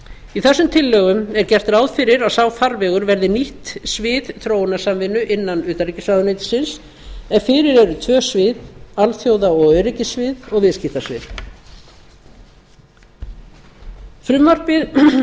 í þessum tillögum er gert ráð fyrir að sá farvegur verði nýtt svið þróunarsamvinnu innan utanríkisráðuneytisins en fyrir eru tvö svið alþjóða og öryggissvið og viðskiptasvið frumvarpið